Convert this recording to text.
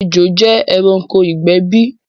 Ẹjò jẹ ẹranko igbẹ̀ bí?